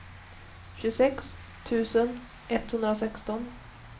tjugosex tusen etthundrasexton